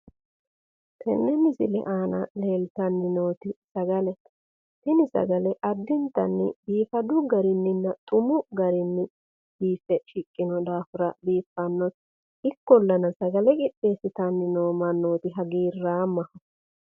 Tenne misile aana leeltanni nooti sagalete. Tuni sagale addinta xumu garinni biiffe shiqqino daafira ikkollana sagale qixxeessitanni noo mannooti hagiirraamoho.